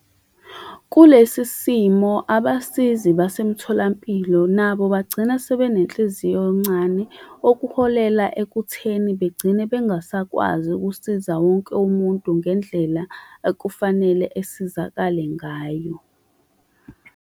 Kulesisimo abasizi basemtholampilo nabo bagcina sebenenhliziyo encane, okuholela ekutheni bagcine bengasakwazi ukusiza wonke umuntu ngendlela ekufanele esizakale ngayo.